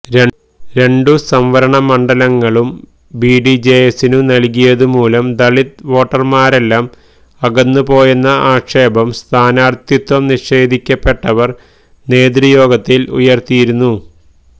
രണ്ടു സംവരണമണ്ഡലങ്ങളും ബിഡിജെഎസിനു നൽകിയതു മൂലം ദലിത് വോട്ടർമാരെല്ലാം അകന്നുപോയെന്ന ആക്ഷേപം സ്ഥാനാർഥിത്വം നിഷേധിക്കപ്പെട്ടവർ നേതൃയോഗത്തിൽ ഉയർത്തിയിരുന്നു